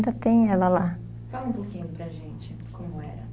Ainda tem ela lá. Fala um pouquinho para a gente como era.